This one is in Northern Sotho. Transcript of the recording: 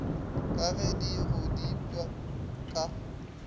ka ge di godipwa ka